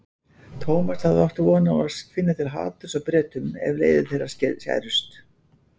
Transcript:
Thomas hafði átt von á að finna til haturs á Bretunum ef leiðir þeirra skærust.